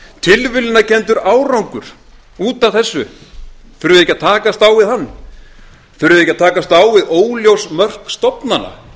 út af þessu þurfum við ekki að takast á við hann þurfum við ekki að takast á við óljós mörk stofnana